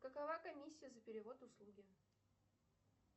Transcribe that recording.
какова комиссия за перевод услуги